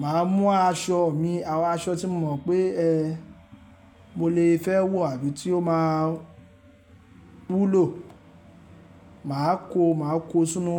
màá mú aṣọ mi, àwọn aṣọ tí mo mọ̀ pé ẹ, mo lè fẹ́ wọ̀ àbí tí ó máa wúlò. Màá kó, màá kó sínú